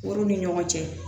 Olu ni ɲɔgɔn cɛ